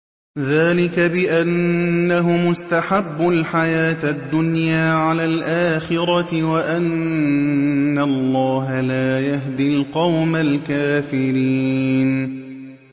ذَٰلِكَ بِأَنَّهُمُ اسْتَحَبُّوا الْحَيَاةَ الدُّنْيَا عَلَى الْآخِرَةِ وَأَنَّ اللَّهَ لَا يَهْدِي الْقَوْمَ الْكَافِرِينَ